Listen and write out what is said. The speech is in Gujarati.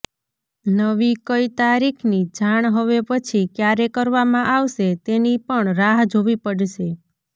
નવી કઈ તારીખની જાણ હવે પછી ક્યારે કરવામાં આવશે તેની પણ રાહ જોવી પડશે